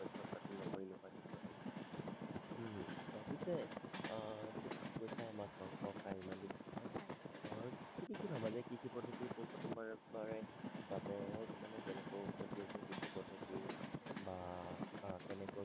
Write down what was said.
উম হম পিছে আহ তুমিটো কৈছা আমাক ইমান দিন হয় তুমি কি ভাবা যে কৃষি পদ্ধতি পোন প্ৰথমবাৰ বাৰে বাবে মানে কেনেকৈ উৎপত্তি কৃষি পদ্ধতি বা কেনেকৈ